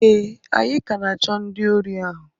ee, anyị ka na-achọ ndị ori ahu